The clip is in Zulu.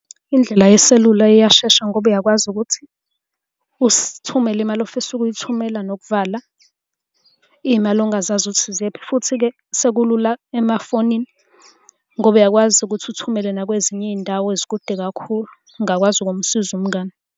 Indlela yeselula iyashesha ngoba uyakwazi ukuthi, usithumele imali ofisa ukuyithumela nokuvala iy'mali ongazazi ukuthi ziyephi, futhi-ke sekulula emafonini ngoba uyakwazi ukuthi uthumele nakwezinye izindawo ezikude kakhulu. Ungakwazi ukumsiza umngani.